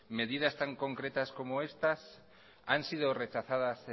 medidas tan concretas como estas han sido rechazadas